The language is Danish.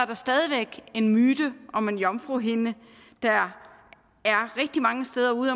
der stadig væk en myte om en jomfruhinde rigtig mange steder ude